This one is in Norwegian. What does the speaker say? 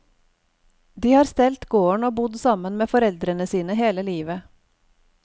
De har stelt gården og bodd sammen med foreldrene sine hele livet.